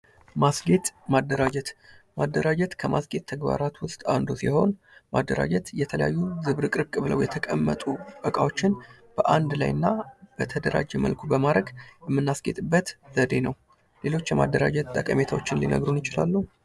ማስጌጥ ማደራጀት ማደራጀት ከማስጌጥ ተግባራት ዉስጥ አንዱ ሲሆን ማደራጀት የተለያዩ ዝብርቅርቅ ብለው የተቀመጡ እቃዎችን በአንድ ላይ እና በተደራጀ መልኩ በማድረግ የምናስጌጥበት ዘዴ ነው። ሌሎች የማደራጀት ጠቀሜታዎችን ሊነግሩን ይችላሉ?